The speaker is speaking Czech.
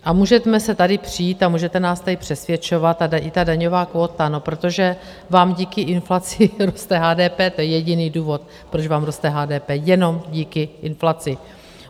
A můžeme se tady přít a můžete nás tady přesvědčovat, a i ta daňová kvóta - no, protože vám díky inflaci roste HDP, to je jediný důvod, proč vám roste HDP, jenom díky inflaci.